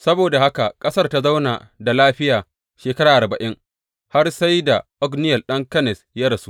Saboda haka ƙasar ta zauna da lafiya shekara arba’in har sai da Otniyel ɗan Kenaz ya rasu.